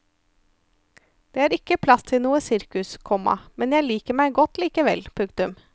Det er ikke plass til noe sirkus, komma men jeg liker meg godt likevel. punktum